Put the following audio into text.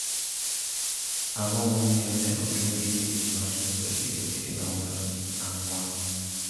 Ang'o momiyo ne ochungi tich mar reso ji otieno mar Ang'wen?